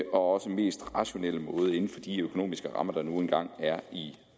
også mest rationelle måde inden for de økonomiske rammer der nu engang er i